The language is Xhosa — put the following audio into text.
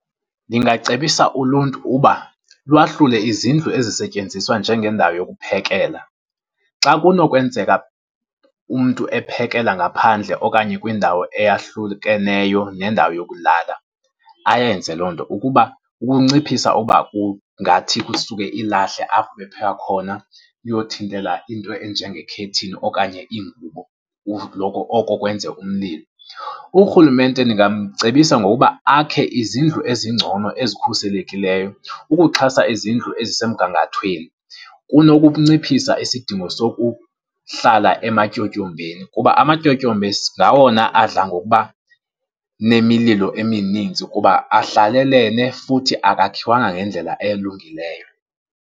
Ndingacebisa uluntu uba lwahlule izindlu ezisetyenziswa njengendawo yokuphekela. Xa kunokwenzeka umntu ephekela ngaphandle okanye kwindawo eyahlukeneyo nendawo yokulala, ayenze loo nto ukuba kunciphisa ukuba kungathi kusuke ilahle apho ebepheka khona liyothintela into enje ngekhethini okanye ingubo oko kwenze umlilo. Urhulumente ndingamcebisa ngokuba akhe izindlu ezingcono ezikhuselekileyo ukuxhasa izindlu ezisemgangathweni. Kunokunciphisa isidingo sokuhlala ematyotyombeni, kuba amatyotyombe ngawona adla ngokuba nemililo emininzi, kuba ahlalelene futhi akakhiwanga ngendlela elungileyo.